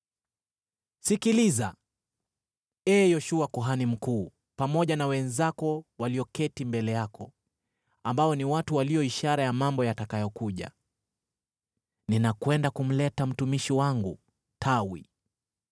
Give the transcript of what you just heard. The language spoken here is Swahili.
“ ‘Sikiliza, ee Yoshua kuhani mkuu, pamoja na wenzako walioketi mbele yako, ambao ni watu walio ishara ya mambo yatakayokuja: Ninakwenda kumleta mtumishi wangu, Tawi.